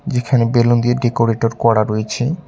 এখানে বেলুন দিয়ে ডেকোরেটর করা রয়েছে।